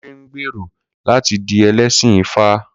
Kunle ń gbèrò láti di ẹlẹ́sìn ifá.